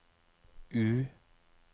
U